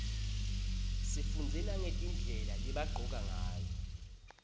sifundze nagetindlela lebagcoka ngayo